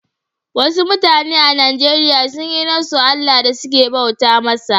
Wassu mutane a Nijeriya sun yi nassu Allah da suke bauta masa.